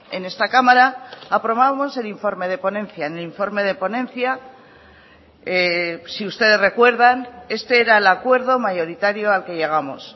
en esta cámara aprobamos el informe de ponencia en el informe de ponencia si ustedes recuerdan este era el acuerdo mayoritario al que llegamos